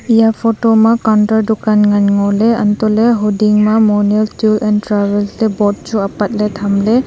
eya photo ma counter dukan ngan ngoley antohley hoding ma monyul tour and travel ley board chu apatley thamley.